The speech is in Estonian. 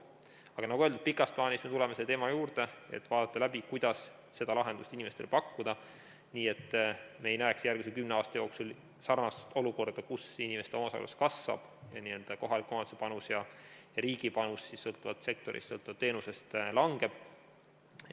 Aga nagu öeldud, pikas plaanis me tuleme selle teema juurde, et vaadata läbi, mis lahendust inimestele pakkuda, et me ei näeks järgmise kümne aasta jooksul sarnast olukorda, kus inimeste omaosalus kasvab ning kohalike omavalitsuste panus ja riigi panus sõltuvalt sektorist ja teenusest langeb.